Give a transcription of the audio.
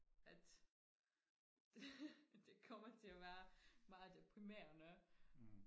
at det det kommer til og være meget deprimerende